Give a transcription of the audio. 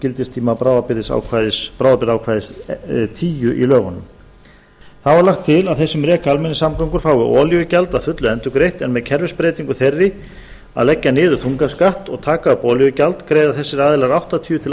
gildistíma bráðabirgðaákvæðis tíu í lögunum þá er lagt til að þeir sem reka almenningssamgöngur fái olíugjald að fullu endurgreitt en með kerfisbreytingu þeirri að leggja niður þungaskatt og taka upp olíugjald greiða þessir aðilar áttatíu til